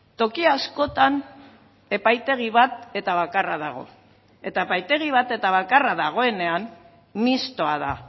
toki askotan epaitegi bat eta bakarra dago eta epaitegi bat eta bakarra dagoenean mixtoa da